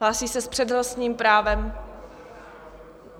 Hlásí se s přednostním právem...